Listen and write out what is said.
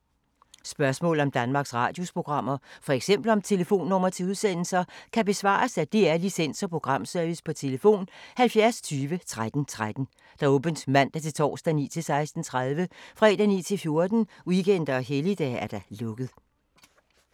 Spørgsmål om Danmarks Radios programmer, f.eks. om telefonnumre til udsendelser, kan besvares af DR Licens- og Programservice: tlf. 70 20 13 13, åbent mandag-torsdag 9.00-16.30, fredag 9.00-14.00, weekender og helligdage: lukket.